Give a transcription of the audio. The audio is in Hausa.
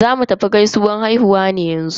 Zamu tafi gaisuwan haihuwa ne yanzu.